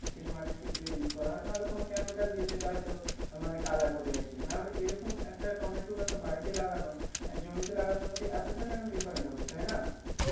যেটা মাটির ক্ষেত্রে Use করা হয় না হলে কোনো Chemical দিয়েছে তাই এত Color ফুল হয়েছে না এই রকম একটা টমেটু একটা বাড়িতে লাগানো জমিতে লাগানোর মধ্যে এতটা কেন Differant হবে তাই না